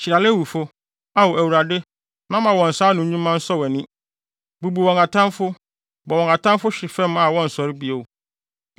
Hyira Lewifo, Ao Awurade na ma wɔn nsa ano nnwuma nsɔ wʼani. Bubu wɔn atamfo; bɔ wɔn atamfo hwe fam a wɔnsɔre bio.”